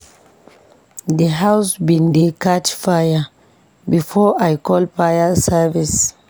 D house bin dey catch fire before I call fire service.